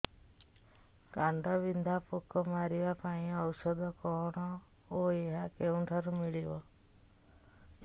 କାଣ୍ଡବିନ୍ଧା ପୋକ ମାରିବା ପାଇଁ ଔଷଧ କଣ ଓ ଏହା କେଉଁଠାରୁ ମିଳିବ